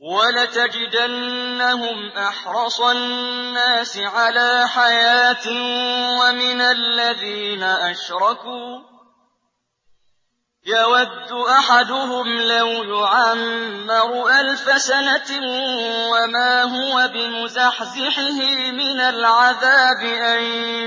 وَلَتَجِدَنَّهُمْ أَحْرَصَ النَّاسِ عَلَىٰ حَيَاةٍ وَمِنَ الَّذِينَ أَشْرَكُوا ۚ يَوَدُّ أَحَدُهُمْ لَوْ يُعَمَّرُ أَلْفَ سَنَةٍ وَمَا هُوَ بِمُزَحْزِحِهِ مِنَ الْعَذَابِ أَن